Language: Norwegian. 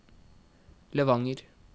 Levanger